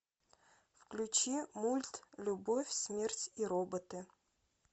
включи мульт любовь смерть и роботы